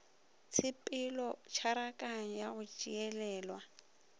tshepelo tšharakano ya go tšeelelwa